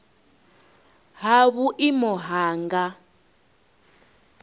ha vhuimo ha nha nga